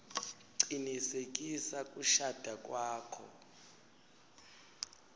cinisekisa kushada kwakho